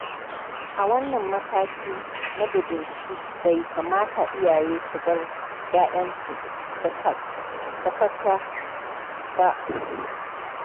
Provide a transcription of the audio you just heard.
A wannan mataki na budurci bai kamata iyaye su bar ƴaƴansu sakaka ba.